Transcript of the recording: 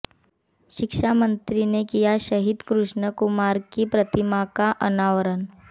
शिक्षामंत्री ने किया शहीद कृष्ण कुमार की प्रतिमा का अनावरण